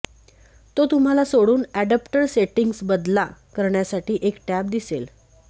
तो तुम्हाला सोडून अडॅप्टर सेटिंग्ज बदला करण्यासाठी एक टॅब दिसेल